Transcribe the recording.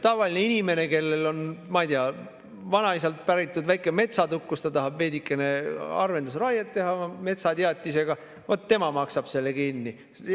Tavaline inimene, kellel on, ma ei tea, vanaisalt päritud väike metsatukk, kus ta tahab veidikene harvendusraiet teha metsateatisega, vaat tema maksab selle kinni.